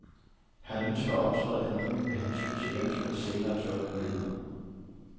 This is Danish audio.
Han ønsker at optræde anonymt af hensyn til eventuelt senere jobmuligheder.